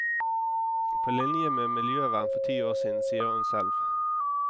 På linje med miljøvern for ti år siden, sier hun selv.